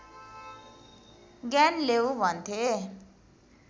ज्ञान लेऊ भन्थे